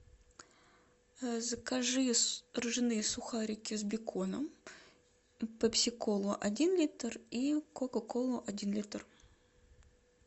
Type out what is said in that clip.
закажи ржаные сухарики с беконом пепси колу один литр и кока колу один литр